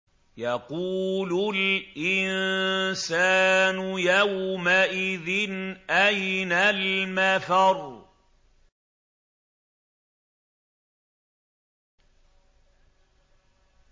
يَقُولُ الْإِنسَانُ يَوْمَئِذٍ أَيْنَ الْمَفَرُّ